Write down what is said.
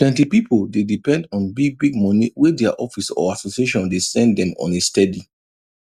plenty pipo dey depend on bigbig money wey dia office or association dey send dem on a steady